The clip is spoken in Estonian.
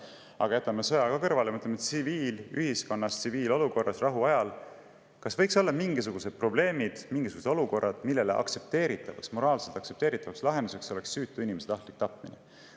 Aga jätame sõja kõrvale ja mõtleme, kas tsiviilühiskonnas, tsiviilolukorras rahuajal võiksid olla mingisugused probleemid, mingisugused olukorrad, mille puhul moraalselt aktsepteeritavaks lahenduseks oleks süütu inimese tahtlik tapmine.